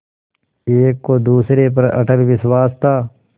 एक को दूसरे पर अटल विश्वास था